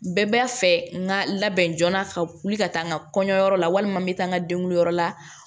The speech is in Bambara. Bɛɛ b'a fɛ n ka labɛn joona ka wuli ka taa n ka kɔɲɔyɔrɔ la walima n bɛ taa n ka denguliyɔrɔ la